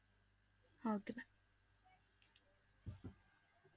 Okay bye